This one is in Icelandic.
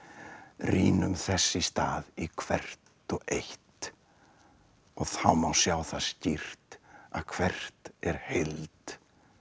rýnum þess í stað í hvert og eitt og þá má sjá það skýrt að hvert er heild